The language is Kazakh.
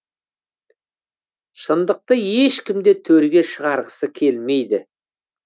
шындықты ешкім де төрге шығарғысы келмейді